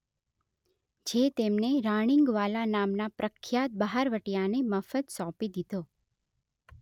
જે તેમણે રાણીંગવાલા નામના પ્રખ્યાત બહારવટીયાને મફત સોંપી દીધો